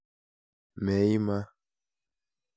Meima.